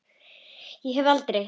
Ég hef aldrei.